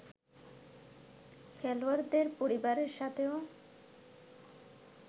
খেলোয়াড়দের পরিবারের সাথেও